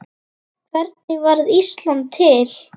Hvernig varð Ísland til?